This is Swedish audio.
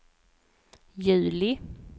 juli